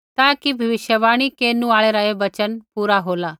ताकि भविष्यवाणी केरनु आल़ै रा ऐ वचन पूरा होला